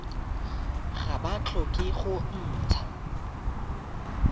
ga ba tlhoke go ntsha